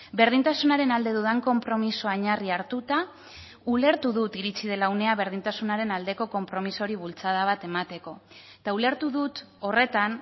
berdintasunaren alde dudan konpromisoa oinarri hartuta ulertu dut iritsi dela unea berdintasunaren aldeko konpromisoari bultzada bat emateko eta ulertu dut horretan